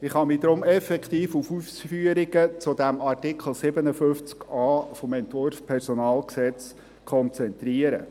Ich kann mich deshalb effektiv auf Ausführungen zu Artikel 57a des Entwurfs des PG konzentrieren.